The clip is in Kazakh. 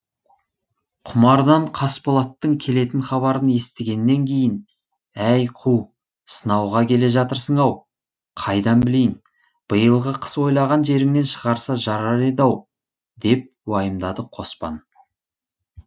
құмардан қасболаттың келетін хабарын естігеннен кейін әй қу сынауға келе жатырсың ау қайдан білейін биылғы қыс ойлаған жеріңнен шығарса жарар еді ау деп уайымдады қоспан